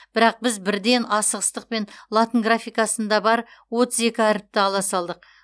бірақ біз бірден асығыстықпен латын графикасында бар отыз екі әріпті ала салдық